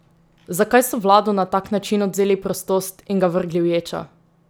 Zakaj so Vladu na tak način odvzeli prostost in ga vrgli v ječo?